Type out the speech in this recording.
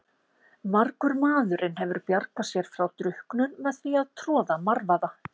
Margur maðurinn hefur bjargað sér frá drukknun með því að troða marvaða.